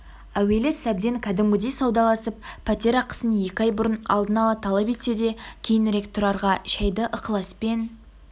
әуелі сәбден кәдімгідей саудаласып пәтер ақысын екі ай бұрын алдын ала талап етсе де кейінірек тұрарға шәйді ықыласпен